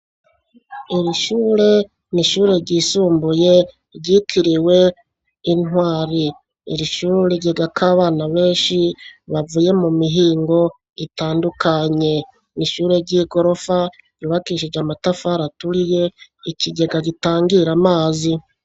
Iri shure n'ishure ry'isumbuye ryikiriwe intwari iri shure rigega ko abana benshi bavuye mu mihingo itandukanye n'ishure ry'igorofa ibakishije amatafa raturiye ikigega gitangira amazi.